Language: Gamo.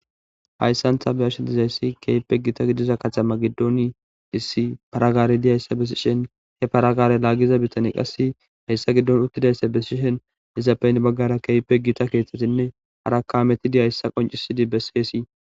hayssantha be7ash dizayssi keype gita gidiza katama giddon dhissi paragaari diyayssa besishen he paragaare laagiza bitani qassi hayssa giddon uttidayssa besishen izappeyn baggara keype gita keeththetinne harakaametidiyayssa qoncisidi beseesi